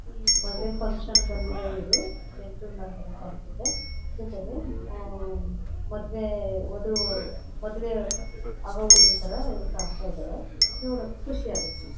ಮದುವೆ ಫನ್ಕ್ಷನ್ ಗೆ ಬಂದಿರೋ ಇವರು ಜಂಟಲ್ಮನ್ ತರ ಕಾಂತಿದಾರೆ ಜೊತೆಗೆ ಮದುವೆ ವದು ಮದುವೆ ಆಗೋ ಹುಡ್ಗನ ತರ ಇವರು ಕಾಂತಿದಾರೆ ನೋಡೋಕೆ ಖುಷಿ ಆಗುತ್ತೆ.